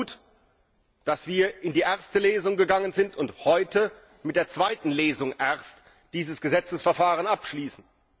Es war gut, dass wir in die erste Lesung gegangen sind und heute mit der zweiten Lesung erst dieses Gesetzesverfahren abschließen.